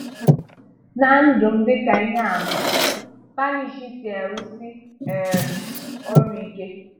Na ndụ m dị ka ihe àmà Spanish si e-rùsì um ọrụ ike.